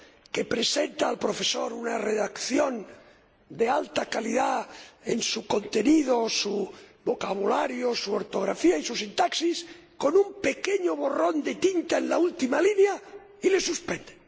que presenta al profesor una redacción de alta calidad en su contenido, su vocabulario, su ortografía y su sintaxis, con un pequeño borrón de tinta en la última línea, y le suspenden.